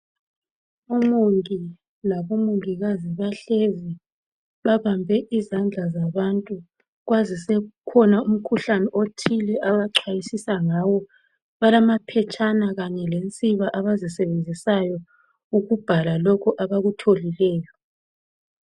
Umongi labomongikazi bahlezi babambe izandla zabantu kwazi sekukhona umkhuhlane othile abacwayisisa ngawo balamaphetshana kanye lensiba abazisebenzisayo ukubhala lokho abakutholileyo.